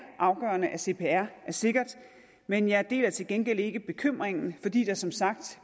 afgørende at cpr er sikkert men jeg deler til gengæld ikke bekymringen fordi der som sagt